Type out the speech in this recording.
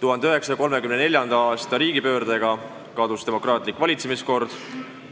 1934. aasta riigipöördega kadus demokraatlik valitsemiskord